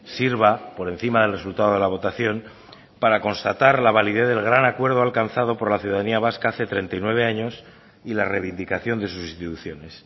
sirva por encima del resultado de la votación para constatar la validez del gran acuerdo alcanzado por la ciudadanía vasca hace treinta y nueve años y la reivindicación de sus instituciones